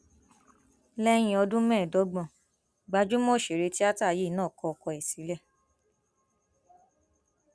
lẹyìn ọdún mẹẹẹdọgbọn gbajúmọ òṣèré tíátà yìí náà kọ ọkọ ẹ sílẹ